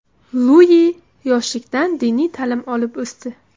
Lui yoshlikdan diniy ta’lim olib o‘sdi.